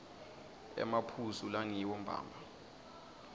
emaphuzu langiwo mbamba